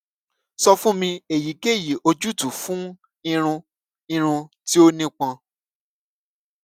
sọ fun mi eyikeyi ojutu fun irun irun ti o nipọn